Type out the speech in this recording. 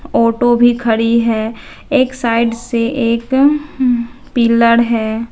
Auto भी खड़ी है एक साइड से एक उम पिलर है।